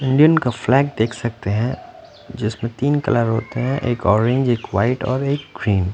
Indian का flag देख सकते हैं जिसमें तीन कलर होते हैं एक ऑरेंज एक वाइट और एक ग्रीन ।